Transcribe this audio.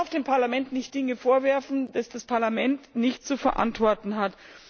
Man darf dem Parlament keine Dinge vorwerfen, die das Parlament nicht zu verantworten hat.